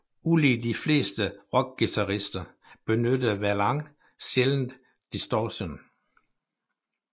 Ulig de fleste rockguitarister benyttede Verlaine sjældendt distortion